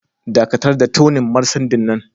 Dakatar da tuning marcendin nan!